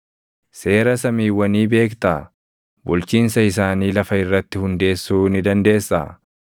Seera samiiwwanii beektaa? Bulchiinsa isaanii lafa irratti hundeessuu ni dandeessaa?